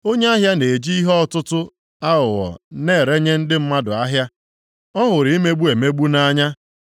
Onye ahịa na-eji ihe ọtụtụ aghụghọ na-erenye ndị mmadụ ahịa, ọ hụrụ imegbu emegbu nʼanya.